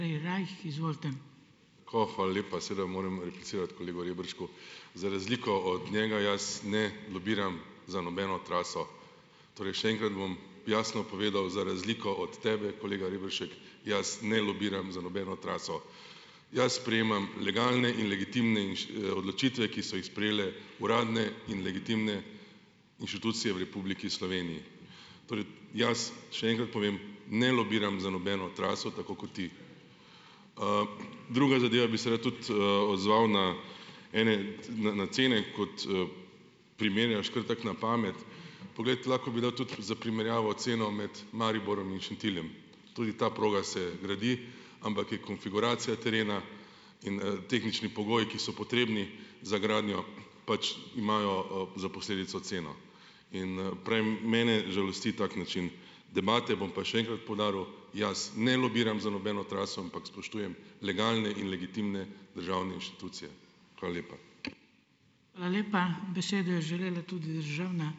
O, hvala lepa. Seveda moram replicirati kolegu Reberšku. Za razliko od njega, jaz ne lobiram za nobeno traso, torej še enkrat bom jasno povedal, za razliko od tebe, kolega Rebršek, jaz ne lobiram za nobeno traso. Jaz sprejemam legalne in legitimne odločitve, ki so jih sprejele uradne in legitimne inštitucije v Republiki Sloveniji, torej jaz še enkrat povem, ne lobiram za nobeno traso tako kot ti. Druga zadeva, bi se rad tudi, odzval na ene cene, kot, primerjaš kar tako na pamet, poglej, lahko bi dal tudi za primerjavo ceno med Mariborom in Šentiljem, tudi ta proga se gradi, ampak je konfiguracija terena in tehnični pogoji, ki so potrebni za gradnjo, pač imajo, za posledico ceno in, prej mene žalosti tak način debate, bom pa še enkrat poudaril, jaz ne lobiram za nobeno traso, ampak spoštujem legalne in legitimne državne inštitucije. Hvala lepa.